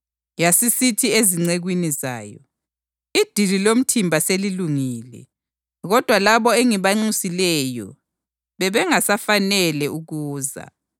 Yasisithi ezincekwini zayo, ‘Idili lomthimba selilungile kodwa labo engibanxusileyo bebengasafanele ukuza.